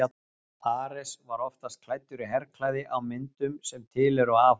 Ares var oftast klæddur í herklæði á myndum sem til eru af honum.